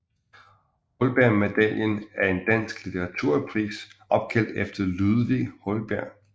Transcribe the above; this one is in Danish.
Holbergmedaljen er en dansk litteraturpris opkaldt efter Ludvig Holberg